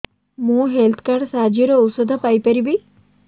ମୁଁ health card ସାହାଯ୍ୟରେ ଔଷଧ ପାଇ ପାରିବି